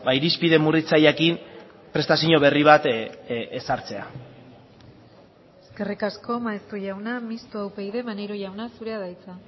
irizpide murritzaileekin prestazio berri bat ezartzea eskerrik asko maeztu jauna mistoa upyd maneiro jauna zurea da hitza